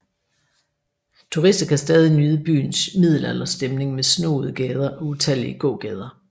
Turister kan stadig nyde byens middelalderstemning med snoede gader og utallige gågader